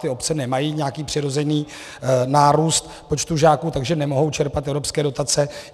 Ty obce nemají nějaký přirozený nárůst počtu žáků, takže nemohou čerpat evropské dotace.